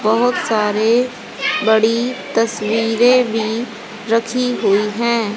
बहुत सारे बड़ी तस्वीरें भी रखी हुई हैं।